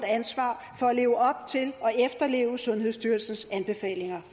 ansvar for at leve op til og efterleve sundhedsstyrelsens anbefalinger